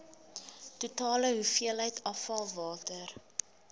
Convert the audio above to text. totale hoeveelheid afvalwater